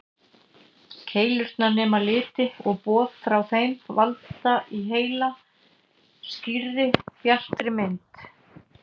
Keilurnar nema liti og boð frá þeim valda í heila skýrri, bjartri mynd.